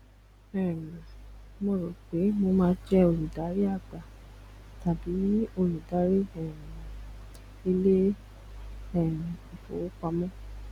um mo rò pé mo máa jẹ olùdarí àgbà tàbí olùdarí um ilé um ìfowópamọ